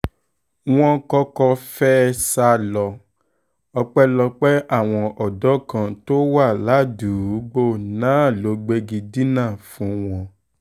wọ́n kọ́kọ́ fẹ́ẹ́ sá lọ ọpẹ́lọpẹ́ àwọn ọ̀dọ́ kan tó wà ládùúgbò náà ló gbégi dínà fún wọn